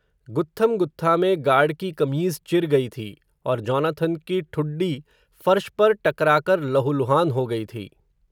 गुत्थम गुत्था में गार्ड की कमीज़ चिर गई थी, और जोनाथन की ठुड्डी फ़र्श पर टकराकर, लहुलुहान हो गई थी